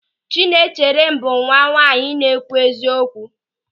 Chinaecherem bụ nwa nwaanyị na-ekwu eziokwu.